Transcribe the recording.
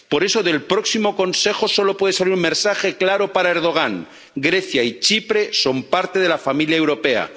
Por eso, del próximo Consejo solo puede salir un mensaje claro para Erdogan Grecia y Chipre son parte de la familia europea.